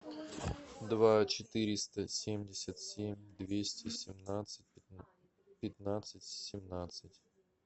два четыреста семьдесят семь двести семнадцать пятнадцать семнадцать